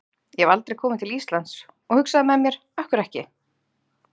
Ég hef aldrei kom til Íslands og hugsaði með mér, af hverju ekki?